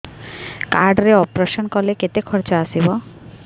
card ରେ operation କଲେ କେତେ ଖର୍ଚ ଆସିବ